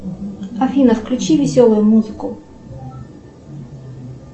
афина включи веселую музыку